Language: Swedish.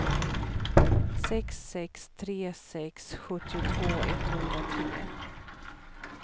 sex sex tre sex sjuttiotvå etthundratre